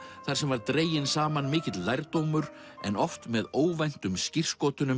þar sem var dreginn saman mikill lærdómur en oft með óvæntum skírskotunum